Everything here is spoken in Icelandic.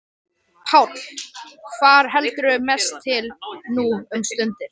Páll: Hvar heldurðu mest til nú um stundir?